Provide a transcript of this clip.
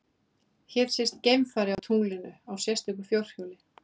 Hér sést geimfari á tunglinu á sérstöku fjórhjóli.